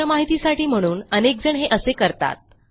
तुमच्या माहितीसाठी म्हणून अनेकजण हे असे करतात